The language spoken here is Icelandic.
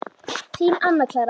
Þín, Anna Clara.